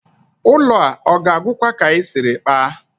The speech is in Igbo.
Ụlọ a ọ ga-agwụkwa ka anyị siri kpaa?